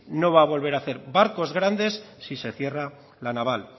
no va a volver a hacer barcos grandes si se cierra la naval